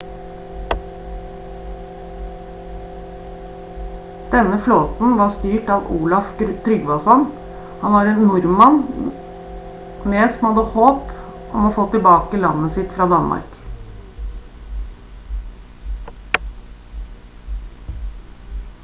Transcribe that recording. denne flåten var styrt av olaf trygvasson han var en nordmann med som hadde håp om å få tilbake landet sitt fra danmark